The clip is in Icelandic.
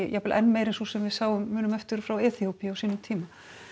jafnvel enn meiri en sú sem við munum eftir frá Eþíópíu á sínum tíma